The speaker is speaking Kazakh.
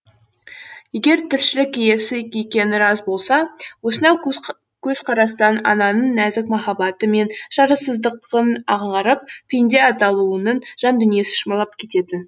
егер тіршілік иесі екені рас болса осынау көзқарастан ананың нәзік махаббаты мен шарасыздықтың аңғарып пенде атаулының жан дүниесі шымырлап кететін